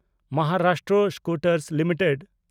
Maharashtra scooters limited